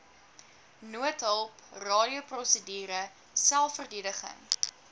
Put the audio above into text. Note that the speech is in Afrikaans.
noodhulp radioprosedure selfverdediging